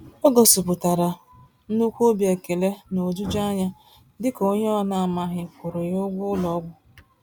O gosi pụtara nnukwu obi ekele nojuju anya, dịka onyé ọna amaghị kwụụrụ ya ụgwọ ụlọ ọgwụ